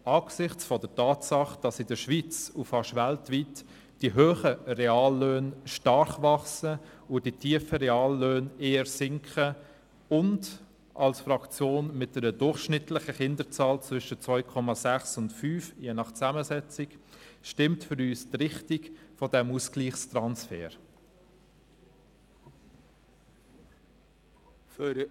Angesichts der Tatsache, dass in der Schweiz und beinahe weltweit die hohen Reallöhne stark wachsen und die tiefen Reallöhne eher sinken und als Fraktion mit einer durchschnittlichen Kinderzahl zwischen 2,6 und 5, je nach Zusammensetzung, stimmt für uns die Richtung dieses Ausgleichstransfers.